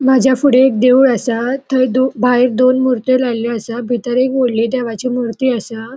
माझ्या फुड़े एक देऊळ असा थय भाऐर दोन मूर्ती लायले असा भीतर एक वडली देवाची मूर्ती असा.